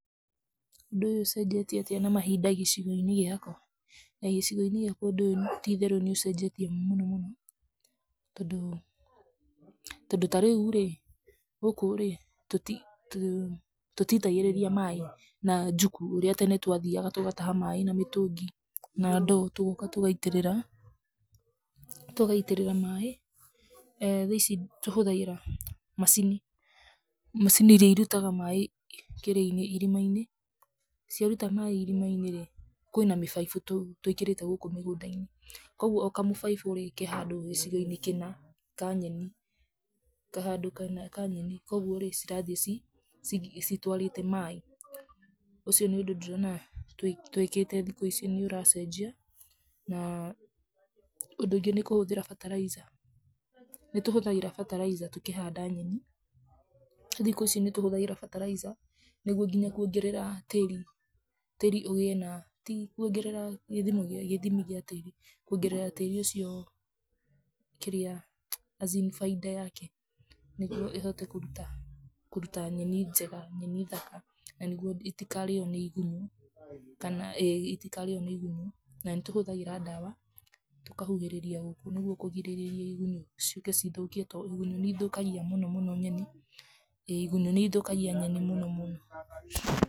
Ũndũ ũyũ ũcenjetie atĩa na mahinda gĩcigo-inĩ gĩaku? Gĩcĩgo-inĩ gĩakwa ti itherũ ũndũ ũyũ nĩ ũcejetie mũno mũno, tondũ, tondũ ta rĩu rĩĩ, gũkũ rĩ tũtitagĩrĩria maĩ na juku ũria tene twathiaga tũgataha maĩ na mũtũngi na ndoo tũgoka tũgaitĩrĩra, tũgaitĩrĩra maĩ thaici tũhũthagira, macini, macini iria irutagaa maĩ, kĩrĩa inĩ, irima inĩ, ciaruta maĩ irima inĩ rĩ, kĩna mĩbaibũ twĩkĩrĩte gũkũ mĩgũnda inĩ, koguo o kamũbaibu rĩ, ke handũ gĩcĩgo-inĩ kĩna, Ka nyeni, koguo rĩ, cirathi ci ci citwarĩte maĩ, ũcio nĩ ũndũ ndĩrona twikĩte thikũ ici nĩ ũracenjia, na, ũndũ ũngĩ nĩ kũhũthĩra fertilizer nĩ tũhũthagĩra fertilizer tũkĩhanda nyeni, thikũ ici nĩ tũhũthagĩra fertilizer nĩguo nginya kuongerera tĩri tĩri ũgĩe na ti kuongerera gĩthimi gĩa tĩri kuongerera tĩri ũcio, kĩrĩa as in baida yake, nĩgwo ĩhote kũruta kũruta nyeni njega, nyeni thaka, na nĩgwo itikarĩo nĩ igunyu kana ĩĩ itikarĩo nĩ igunyũ na nĩ tũhũthagĩra dawa, tũkahuhĩrĩria gũkũ nĩgwo kũgirĩrĩria igunyũ nĩgwo ciũke cithũkie tondũ nĩ ithũkagia mũno mũno nyeni ĩĩ igunyũ nĩ ithũkagia nyeni mũno mũno.